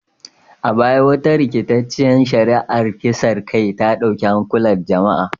A baya, wata rikitacciyar shari’ar kisan kai ta dauki hankulan jama’a